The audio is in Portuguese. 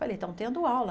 Falei, estão tendo aula.